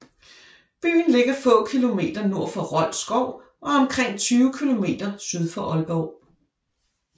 Byen ligger få kilometer nord for Rold Skov og omkring 20 kilometer syd for Aalborg